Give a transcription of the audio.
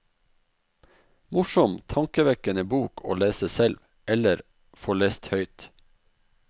Morsom, tankevekkende bok å lese selv, eller få lest høyt.